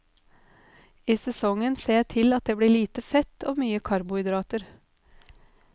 I sesongen ser jeg til at det blir lite fett og mye karbohydrater.